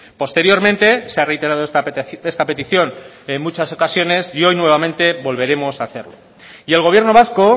posteriormente se ha reiterado esta petición en muchas ocasiones y hoy nuevamente volveremos a hacerlo y el gobierno vasco